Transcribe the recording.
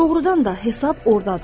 Doğrudan da hesab ordadır.